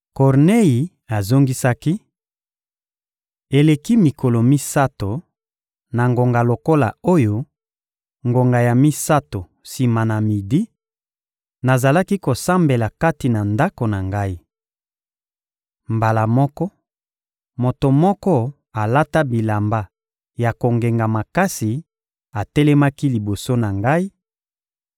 Kornei azongisaki: — Eleki mikolo misato, na ngonga lokola oyo, ngonga ya misato sima na midi, nazalaki kosambela kati na ndako na ngai. Mbala moko, moto moko alata bilamba ya kongenga makasi atelemaki liboso na ngai